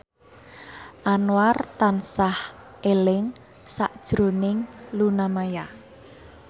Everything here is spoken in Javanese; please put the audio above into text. Anwar tansah eling sakjroning Luna Maya